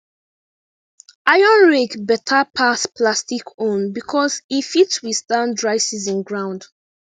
iron rake beta pass plastic own becos e fit withstand dry season ground